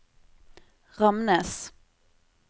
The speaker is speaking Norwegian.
Ramnes